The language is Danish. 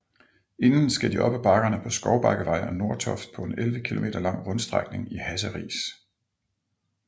Inden skal de op af bakkerne Skovbakkevej og Nordtoft på en 11 km lang rundstrækning i Hasseris